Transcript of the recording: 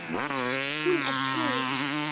Hún er trúuð.